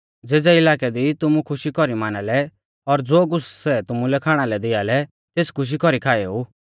ज़ेज़ै इलाकै दी तुमु खुशी कौरी माना लै और ज़ो कुछ़ सै तुमुलै खाणा लै दिआ लै तेस खुशी कौरीऐ खाएऊ